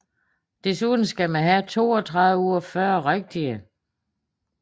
Desuden skal man have 32 ud af 40 rigtige